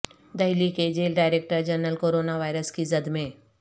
دہلی کے jail director general corona virus کی زد میں